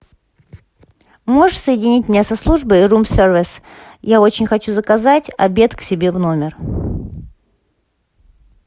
можешь соединить меня со службой рум сервис я очень хочу заказать обед к себе в номер